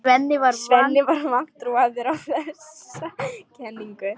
Svenni var vantrúaður á þessa kenningu.